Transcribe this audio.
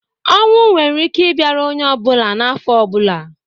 Ọnwụ nwere ike i bịara onye ọ bụla na afọ ọ bụla.